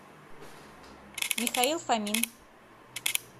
михаил фомин